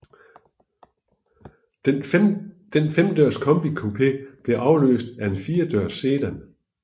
Den femdørs combi coupé blev afløst af en firedørs sedan